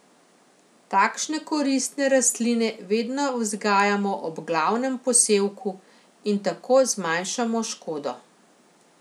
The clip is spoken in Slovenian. Takšne koristne rastline vedno vzgajamo ob glavnem posevku in tako zmanjšamo škodo.